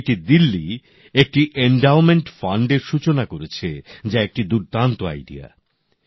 IIT Delhi একটি endowment ফান্ডের সূচনা করেছে যা একটি দুর্দান্ত আইডিয়া